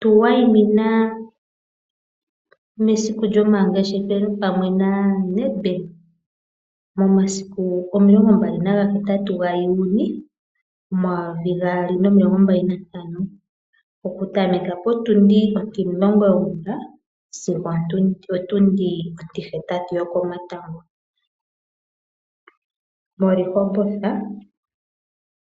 Tu wayimina mesiku lyomangeshefelo pamwe naNedbank momasiku 28 Juli 2025, okutameka potundi ontimulongo yongula sigo opotundi ontihetatu yokongulohi moRehoboth